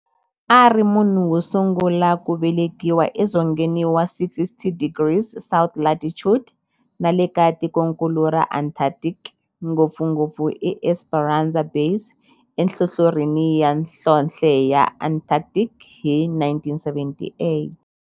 A ri munhu wosungula ku velekiwa e dzongeni wa 60 degrees south latitude nale ka tikonkulu ra Antarctic, ngopfungopfu eEsperanza Base enhlohlorhini ya nhlonhle ya Antarctic hi 1978.